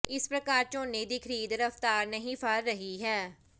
ਇਸ ਪ੍ਰਕਾਰ ਝੋਨੇ ਦੀ ਖਰੀਦ ਰਫ਼ਤਾਰ ਨਹੀਂ ਫੜ ਰਹੀ ਹੈ